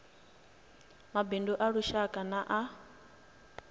mabindu a lushaka na a